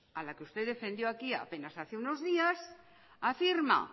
a la que usted defendió aquí apenas hace unos días afirma